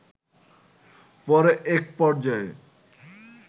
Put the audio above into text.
পরে এক পর্যায়ে